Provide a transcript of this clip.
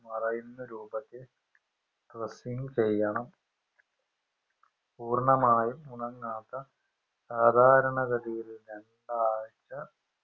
മറയുന്ന രൂപത്തിൽ dressing ചെയ്യണം പൂർണ്ണമായും ഉണങ്ങാത്ത സാദാരണഗതിയിൽ രണ്ടാഴ്ച